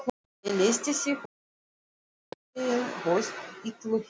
Ég leysti þig úr haldi síðastliðið haust, illu heilli.